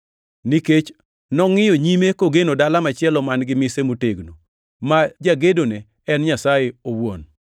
Nikech nongʼiyo nyime kogeno dala machielo man-gi mise motegno, ma jagedone en Nyasaye owuon.